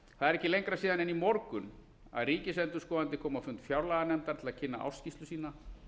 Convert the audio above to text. það er ekki lengra síðan en í morgun að ríkisendurskoðandi kom á fund fjárlaganefndar til að kynna ársskýrslu sína